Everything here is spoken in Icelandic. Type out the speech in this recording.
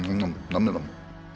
nammi namm